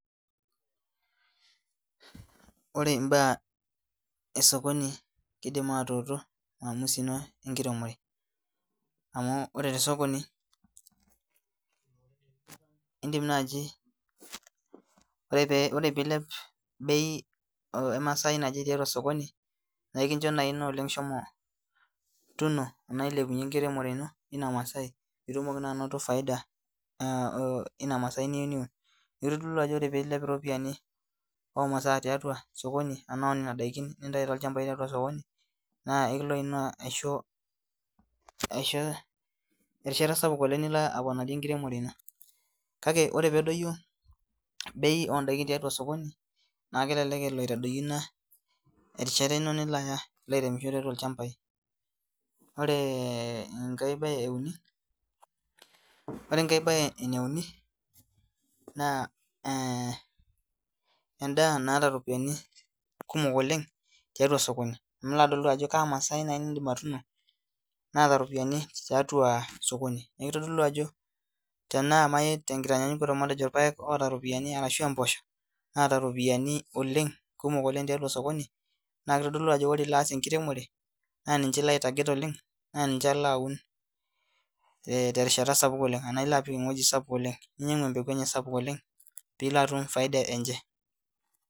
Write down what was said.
Ore imbaa esokoni kidim atuutu maamusi ino enkiremore amu ore te sokoni indim naaji ore pee ore piilep bei emasai naje tiatua osokoni naikincho naa ina oleng shomo tuno anaa ilepunyie enkiremore ino ina masai pitumoki naa anoto faida uh ina masai niyieu niun kitodolu ajo ore piilep iropiani omasaa tiatua sokon i anaa onena daikin nintai tolchambai tiatua sokoni naa ekilo ina aisho erishata sapuk oleng nilo aponarie enkiremore ino kake ore peedoyio bei ondaikin tiatua osokoni naa kelelek elo aitadoyio ina erishata ino nilo aaya ilo aireemisho tiatua illchambai oree enkae baye euni ore enkae baye eneuni naa eh endaa naata iropiani kumok oleng tiatua sokoni nilo adol duo ajo kaa masai naina nindim atuno naata iropiani tiatua sokoni niakitodolu ajo tenaa naai tenkitanyanyukoto matejo irpayek oota iropiani arashua impoosho naata iropiani oleng kumok oleng tiatua osokoni naa kitodolu ajo ore ilo aasa enkiremore naa ninche ilo ae target oleng naa ninche ilo aun eh terishata sapuk oleng anaa ilo apik ewuei sapuk oleng ninyiang'u empeku enye sapuk oleng piilo atum faida enche.